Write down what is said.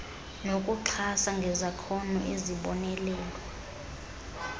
nokuxhasa ngezakhono ezibonelelwa